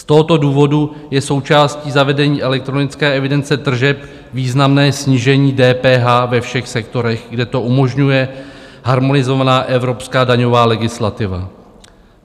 Z tohoto důvodu je součástí zavedení elektronické evidence tržeb významné snížení DPH ve všech sektorech, kde to umožňuje harmonizovaná evropská daňová legislativa.